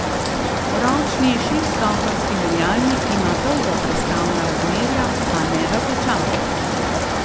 Ročni šeststopenjski menjalnik ima dolga prestavna razmerja, a ne razočara.